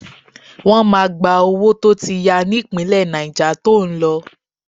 Wọ́n máa gba owó tó ti ya ní ìpínlẹ̀ Náíjà to ń lọ